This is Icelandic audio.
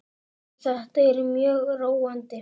Jú, þetta er mjög róandi.